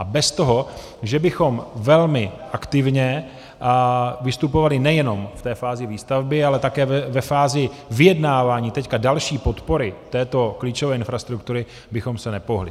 A bez toho, že bychom velmi aktivně vystupovali nejenom v té fázi výstavby, ale také ve fázi vyjednávání teď další podpory této klíčové infrastruktury, bychom se nepohnuli.